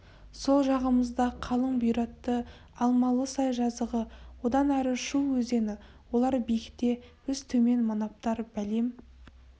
сол жағымызда қалың бұйратты алмалысай жазығы одан әрі шу өзені олар биікте біз төмен манаптар бәлем